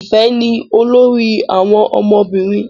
Ifẹ ni olórí àwọn ọmọbìnrin.